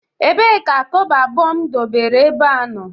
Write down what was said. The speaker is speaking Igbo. Ebee ka kobo abuo m debere ebea no?